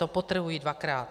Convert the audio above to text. To podtrhuji dvakrát.